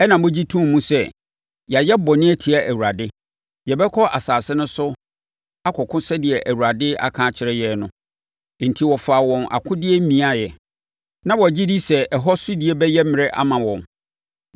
Ɛnna mogye too mu sɛ “Yɛayɛ bɔne atia Awurade. Yɛbɛkɔ asase no so akɔko sɛdeɛ Awurade aka akyerɛ yɛn no.” Enti, wɔfaa wɔn akodeɛ miaeɛ. Na wɔgye di sɛ ɛhɔ sodie bɛyɛ mmerɛ ama wɔn.